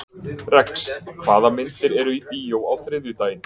Rex, hvaða myndir eru í bíó á þriðjudaginn?